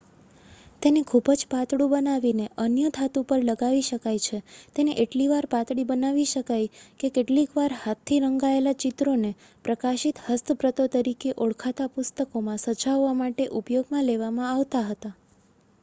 "તેને ખૂબ જ પાતળું બનાવીને અન્ય ધાતુ પર લગાવી શકાય છે. તેને એટલી પાતળી બનાવી શકાય કે કેટલીક વાર હાથથી રંગાયેલા ચિત્રોને "પ્રકાશિત હસ્તપ્રતો" તરીકે ઓળખાતા પુસ્તકોમાં સજાવાવવા માટે ઉપયોગમાં લેવામાં આવતા હતા.